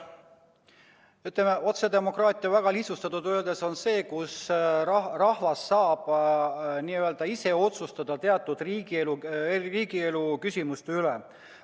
Ütleme, et otsedemokraatia väga lihtsustatult öeldes on see, kui rahvas saab ise otsustada teatud riigielu küsimuste üle.